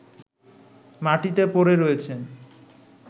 মাটিতে পড়ে রয়েছেন